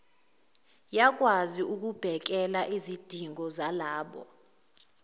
yakwazi ukubhekelaizidingo zalabo